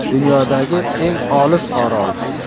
Dunyodagi eng olis orol .